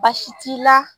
Baasi t'i la